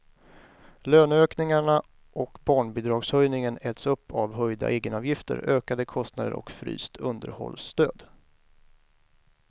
Löneökningarna och barnbidragshöjningen äts upp av höjda egenavgifter, ökade kostnader och fryst underhållsstöd.